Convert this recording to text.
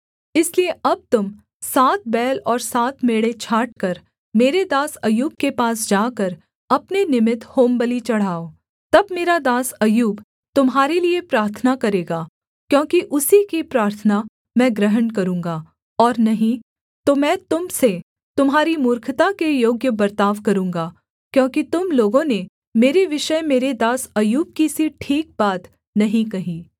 इसलिए अब तुम सात बैल और सात मेढ़े छाँटकर मेरे दास अय्यूब के पास जाकर अपने निमित्त होमबलि चढ़ाओ तब मेरा दास अय्यूब तुम्हारे लिये प्रार्थना करेगा क्योंकि उसी की प्रार्थना मैं ग्रहण करूँगा और नहीं तो मैं तुम से तुम्हारी मूर्खता के योग्य बर्ताव करूँगा क्योंकि तुम लोगों ने मेरे विषय मेरे दास अय्यूब की सी ठीक बात नहीं कही